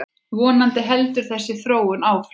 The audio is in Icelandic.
Vonandi heldur þessi þróun áfram.